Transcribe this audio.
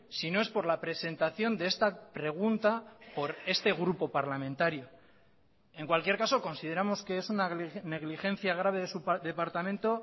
si no es por la presentación de esta pregunta por este grupo parlamentario en cualquier caso consideramos que es una negligencia grave de su departamento